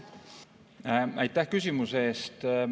Aitäh küsimuse eest!